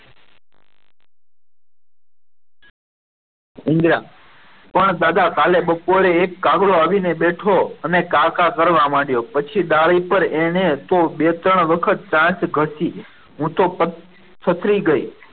ઇન્દિરા પણ દાદા કાલ બપોરે એક કાગડો આવીન બેઠો અને કાકા કરવા માંડ્યો પછી પણ ડાળી પર એને તો બે ત્રણ વખત ચાંચ ગસી હું તો થથરી ગઈ.